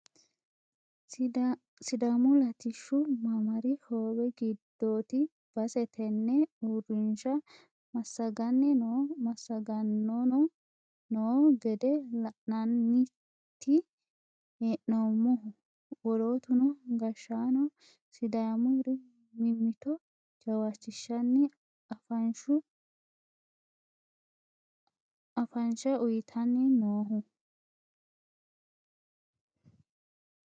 Sidaamu latishshu mamaari hoowe giddoti base tene uurrinsha massagani no massagaanono no gede la'nanniti hee'noommohu wolootuno gashshaano sidaamuri mimmitto jawachishshanni afansha uyittanniti noohu.